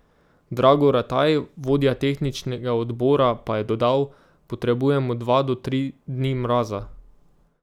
Drago Rataj, vodja tehničnega odbora, pa je dodal: 'Potrebujemo dva do tri dni mraza.